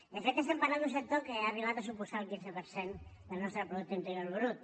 de fet estem parlant d’un sector que ha arribat a suposar el quinze per cent del nostre producte interior brut